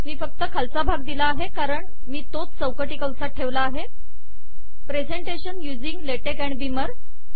मी फक्त खालचा भाग दिला आहे कारण मी तोच चौकटी कंसात ठेवला आहे presentation using LaTeX and Beamer